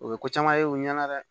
O ye ko caman ye u ɲɛna dɛ